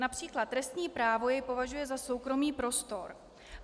Například trestní právo jej považuje za soukromý prostor.